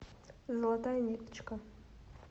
золотая ниточка